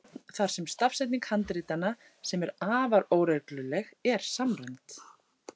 Til er samræmd stafsetning forn þar sem stafsetning handritanna, sem er afar óregluleg, er samræmd.